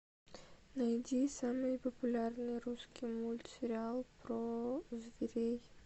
найди самый популярный русский мультсериал про зверей